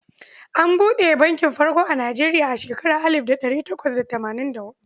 An buɗe bankin farko a Nijeriya a shekarar alif da ɗari takwas da tamanin da huɗu.